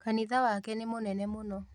Kanitha wake nĩ mũnene mũno